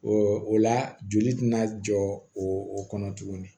o la joli tɛna jɔ o o kɔnɔ tuguni